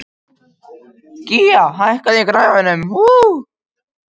Gía, hækkaðu í græjunum.